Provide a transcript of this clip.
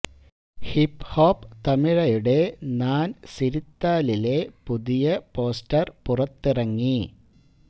hip hop തമിഴയുടെ നാൻ സിരിത്താലിലെ പുതിയ പോസ്റ്റർ പുറത്തിറങ്ങി